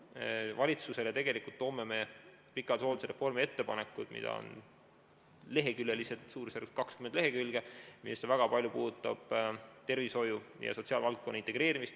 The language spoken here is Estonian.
Me toome valitsuse ette ettepanekud hooldusreformi kohta, mida on suurusjärgus 20 lehekülge ja millest väga paljud puudutavad tervishoiu ja sotsiaalvaldkonna integreerimist.